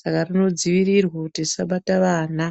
Saka rinodzivirirwa kuti risabata vana.